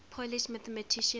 polish mathematicians